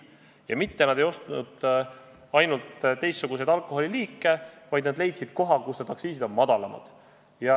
Ja inimesed mitte ei ostnud ainult teist liiki alkoholi, vaid leidsid koha, kus aktsiisid on madalamad.